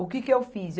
O que que eu fiz?